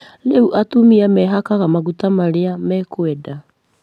Rĩu atumia mehakaga maguta marĩa mekwenda